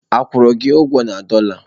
A kwụrụ gị ụgwọ na dọla?